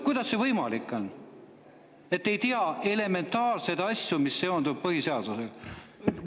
Kuidas see võimalik on, et te ei tea elementaarseid asju, mis seonduvad põhiseadusega?